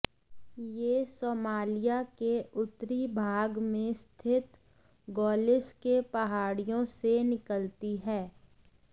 यह सोमालिया के उत्तरी भाग में स्थित गोलिस के पहाड़ियों से निकलती है